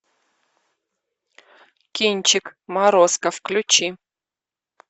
кинчик морозко включи